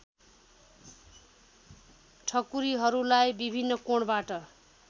ठकुरीहरूलाई विभिन्न कोणबाट